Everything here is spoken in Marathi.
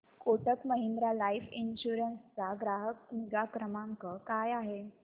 कोटक महिंद्रा लाइफ इन्शुरन्स चा ग्राहक निगा क्रमांक काय आहे